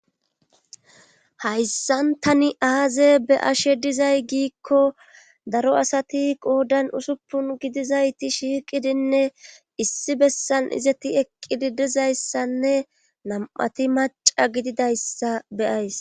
hayssan tani aaze be ashe dizay giikko daro asati qoodan usuppun gidizayti shiiqidinne issi bessan izeti eqqidi dizayssanne nam7ati maca gididayssa beyays